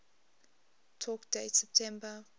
talk date september